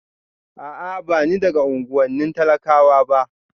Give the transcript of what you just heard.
A'a ba ni daga unuwannin talakawa ba